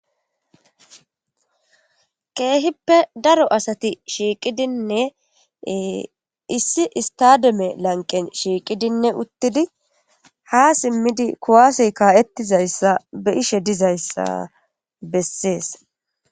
Kehippe daro asati shiiqidinne, issi issttadome lanqqen shiiqidinne uttidi ha simmiddi kuwaase ka'ettizaysa be'ishe dizaysa beses.